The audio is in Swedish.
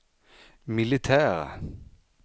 militära